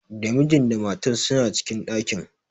Da mijin da matan suna cikin ɗakin.